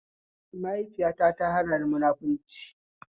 Maihaifita ta hanani munafurci